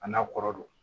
A n'a kɔrɔ don